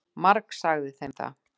Margsagði þeim það.